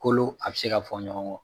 Kolo a bɛ se ka fɔ ɲɔgɔn kɔ.